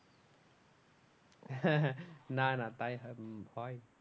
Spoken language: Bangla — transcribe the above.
হ্যাঁ না না তাই উম হয়